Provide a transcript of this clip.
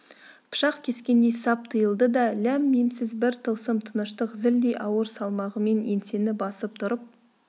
пышақ кескендей сап тыйылды да ләм-мимсіз бір тылсым тыныштық зілдей ауыр салмағымен еңсені басып тұрып